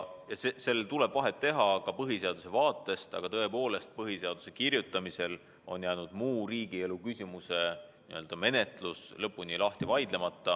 Neil tuleb vahet teha ka põhiseaduse vaatest lähtudes, aga tõepoolest, põhiseaduse kirjutamisel on jäänud muu riigielu küsimuse menetlus lõpuni läbi vaidlemata.